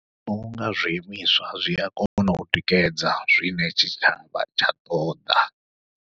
Ndi vhona unga zwi imiswa zwia kona u tikedza zwine tshitshavha tsha ṱoḓa.